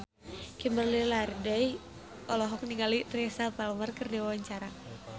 Kimberly Ryder olohok ningali Teresa Palmer keur diwawancara